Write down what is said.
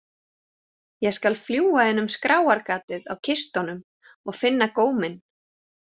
Ég skal fljúga inn um skráargatið á kistunum og finna góminn.